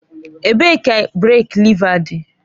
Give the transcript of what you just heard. Ebee ka breek lèva dị.